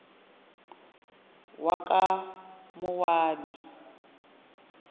wakamowabi